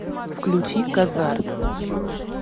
включи казарт